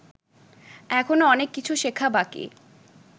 এখনও অনেক কিছু শেখা বাকি